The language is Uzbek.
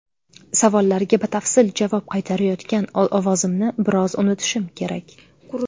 Savollarga batafsil javob qaytarayotgan ovozimni biroz unutishim kerak.